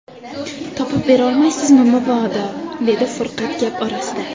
Topib berolmaysizmi, mobodo, - dedi Furqat gap orasida.